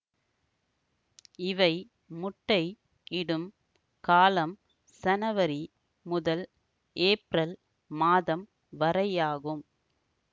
இவை முட்டை இடும் காலம் சனவரி முதல் ஏப்ரல் மாதம் வரையாகும்